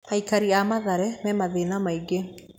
Aikari a Mathare me mathĩĩna maingĩ.